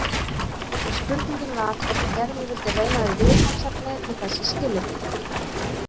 Spurningin var hvort Gerður vildi reyna við viðfangsefnið við þessi skilyrði.